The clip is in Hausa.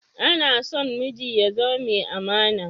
Anason miji ya zama mai amana